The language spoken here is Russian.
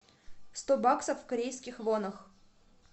сто баксов в корейских вонах